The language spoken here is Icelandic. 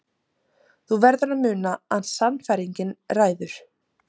Þú verður að muna að sannfæringin ræður.